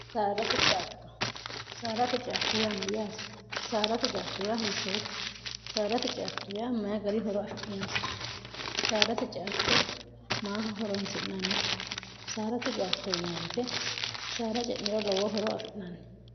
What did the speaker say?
dctosaarate ciatto yaa mayyaati saarate caatto ya hiittoote saadate ciatto yaa maya gari horo afi'nhinote saadate ciatto maa horonsi'nannite saarate ctto ywte saara ce'niro lowo horo afi'naanni